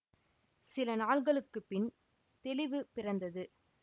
சில நாள் களுக்குப் பின் தெளிவு பிறந்தது